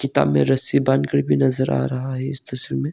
किताब में रस्सी बांध कर भी नजर आ रहा है इस तस्वीर में।